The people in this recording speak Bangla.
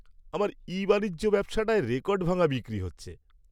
আমার ই বাণিজ্য ব্যবসাটায় রেকর্ডভাঙা বিক্রি হচ্ছে।